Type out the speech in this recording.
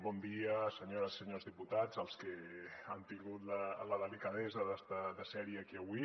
bon dia senyores i senyors diputats els que han tingut la delicadesa de ser aquí avui